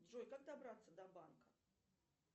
джой как добраться до банка